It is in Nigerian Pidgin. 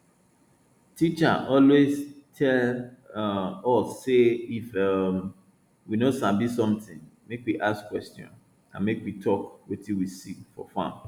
teacher always tell um us say if um we no sabi something make we ask question and make we talk wetin we see for farm